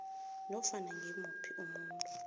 nofana ngimuphi umuntu